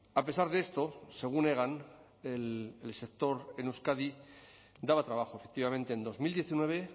a pesar de esto según hegan el sector en euskadi daba trabajo efectivamente en dos mil diecinueve